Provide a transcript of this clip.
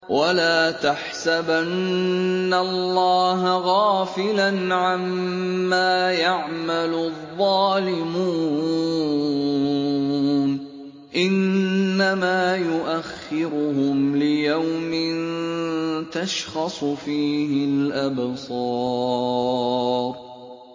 وَلَا تَحْسَبَنَّ اللَّهَ غَافِلًا عَمَّا يَعْمَلُ الظَّالِمُونَ ۚ إِنَّمَا يُؤَخِّرُهُمْ لِيَوْمٍ تَشْخَصُ فِيهِ الْأَبْصَارُ